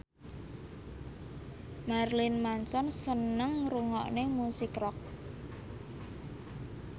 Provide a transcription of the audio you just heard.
Marilyn Manson seneng ngrungokne musik rock